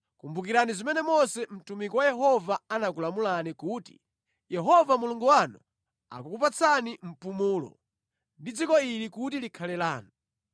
“Kumbukirani zimene Mose mtumiki wa Yehova anakulamulani kuti, ‘Yehova Mulungu wanu akukupatsani mpumulo, ndi dziko ili kuti likhale lanu.’